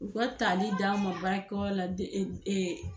U ka tali d'an ma baarakɛyɔrɔ la de e ɛ